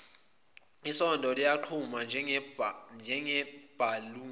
isondo liyaqhuma njengebhaluni